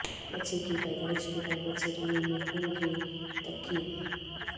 بچے کی پیدائش کے بعد بچہ دانی میں خون کے تککی